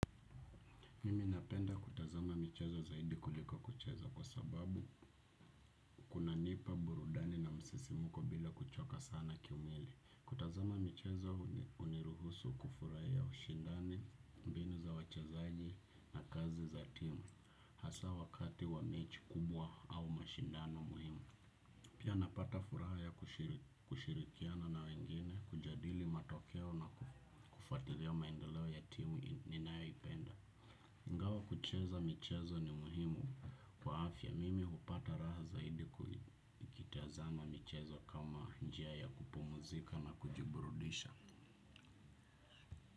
Mimi napenda kutazama michezo zaidi kuliko kucheza kwa sababu kunanipa burudani na msisimko bila kuchoka sana kimwili. Kutazama michezo huniruhusu kufuraia ushindani, mbinu za wachezaji na kazi za timu, hasa wakati wa mechi kubwa au mashindano muhimu. Pia napata furaha ya kushirikiana na wengine, kujadili matokeo na kufuatilia maendeleo ya timu ninayoipenda. Ingawa kucheza michezo ni muhimu kwa afya mimi hupata raha zaidi kuitazama michezo kama njia ya kupumuzika na kujiburudisha.